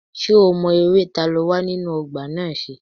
Ṣé o mọ eré ta ló wà nínú ọgbà náà ṣe?